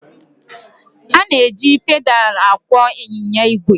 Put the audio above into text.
A na-eji pedaal akwọ ịnyịnya igwe.